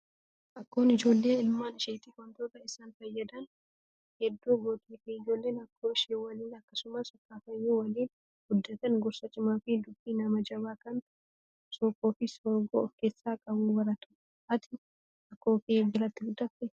Akkoon ijoollee ilmaan isheetiif wantoota isaan fayyadan hedduu gootiif. Ijoolleen akkaoo ishee waliin akkasumas akaakayyuu waliin guddatan gorsa cimaa fi dubbii nama jabaa kan sookoo fi soorgoo of keessaa qabu baratu. Ati akkoo kee biratti guddattee?